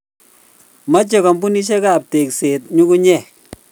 Mochei kampunishiek ab tekset nyukunyeg